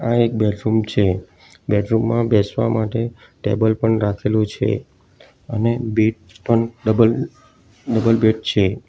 આ એક બેડરૂમ છે બેડરૂમ માં બેસવા માટે ટેબલ પણ રાખેલું છે અને બેડ પણ ડબલ ડબલ બેડ છે.